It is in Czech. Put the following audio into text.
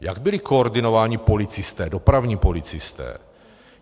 Jak byli koordinováni policisté, dopravní policisté?